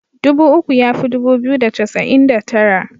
Dubu uku ya fi dubu biyu da casa'in da tara.